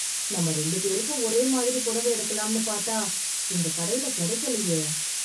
நம்ம ரெண்டு பேருக்கும் ஒரே மாதிரி புடவை எடுக்கலாம்னு பாத்தா, இந்த கடையில கெடைக்கலயே...